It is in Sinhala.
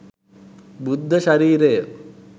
බුද්ධ ශරීරය